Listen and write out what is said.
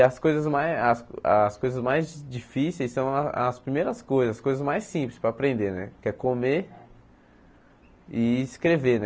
E as coisas mais as as coisas mais difíceis são as as primeiras coisas, as coisas mais simples para aprender né, que é comer e escrever né.